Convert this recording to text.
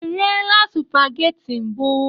I riela supageti mbụ?